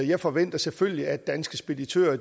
jeg forventer selvfølgelig at danske speditører